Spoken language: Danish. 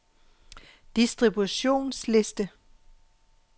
distributionsliste